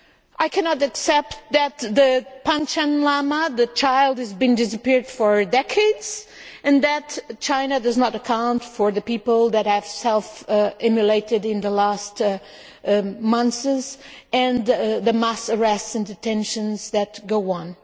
I cannot accept that the Panchen Lama child has disappeared for decades and that China does not account for the people that have self immolated in the last months and the mass arrests and detentions that go on.